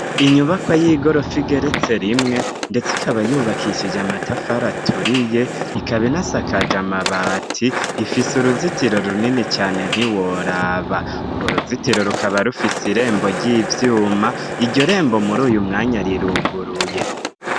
Inyubako y'igorofa igeretse rimwe ndetse ikaba yubakishije amatafari aturiye ikaba inasakaje amabati ifise uruzitiro runini cane ntiworaba. urwo ruzitiro rukaba rufise irembo ry'ivyuma, iryo rembo muri uyu mwanya riruguruye.